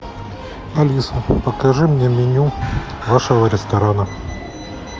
алиса покажи мне меню вашего ресторана